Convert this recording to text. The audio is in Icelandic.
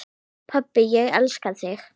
Pabbi, ég elska þig.